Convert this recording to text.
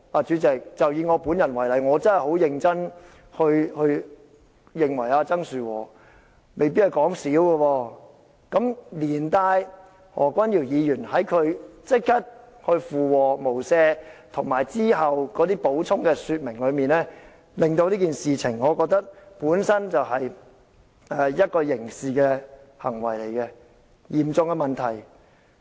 主席，以我本人為例，我真的很認真認為曾樹和未必是說笑，連帶何君堯議員立即附和說"無赦"，以及其後的補充說明，我會認為這件事情本身是刑事行為，是嚴重的問題。